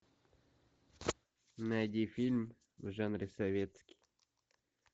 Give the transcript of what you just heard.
найди фильм в жанре советский